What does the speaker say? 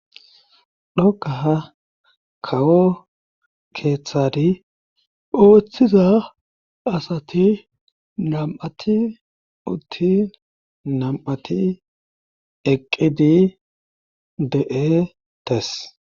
dhokaha kawo keeththari ooththiza asati nam7ati utti nam7ati eqqidi de'e tes